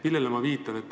Millele ma viitan?